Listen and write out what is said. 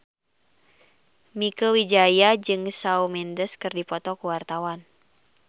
Mieke Wijaya jeung Shawn Mendes keur dipoto ku wartawan